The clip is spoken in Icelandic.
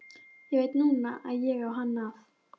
Ég veit núna að ég á hann að.